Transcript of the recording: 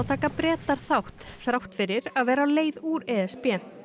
taka Bretar þátt þrátt fyrir að vera á leið úr e s b